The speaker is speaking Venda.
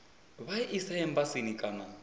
vha i ise embasini kana